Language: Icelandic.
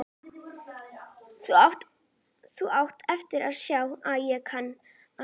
Þú átt eftir að sjá að ég kann að þykjast.